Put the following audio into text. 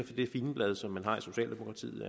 det figenblad som man har i socialdemokratiet